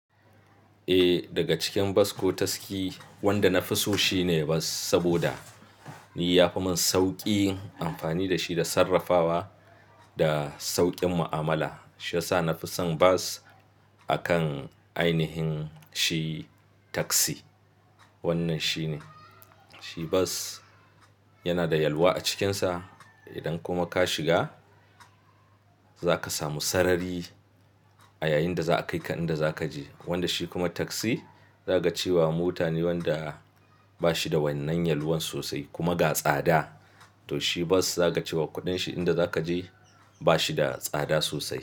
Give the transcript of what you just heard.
Eh, daga cikin bas ko taski wanda na fi so shine bas saboda ya fi min sauƙi amfani da shi da sarrafawa da sauƙin mu'amala. Shiya sa na fi son bas a kan ainihin shi taksi. Wannan shine, shi bas yana da yalwa a cikinsa. Idan kuma ka shiga za ka samu sarari a yayin da za a kai ka inda za ka je. Wanda shi kuma taksi za ka ce wa mota ne wanda ba shi da wannan yalwan sosai kuma ga tsada. To shi bas za ka ce wa kuɗin shi inda za ka je ba shi da tsada sosai.